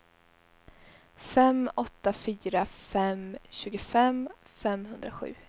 fem åtta fyra fem tjugofem femhundrasju